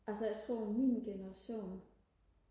altså jeg tror min generation